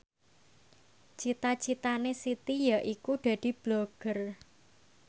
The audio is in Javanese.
cita citane Siti yaiku dadi Blogger